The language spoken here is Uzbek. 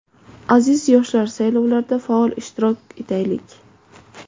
Aziz yoshlar, saylovlarda faol ishtirok etaylik!.